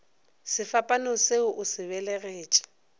sefapano se o se belegetše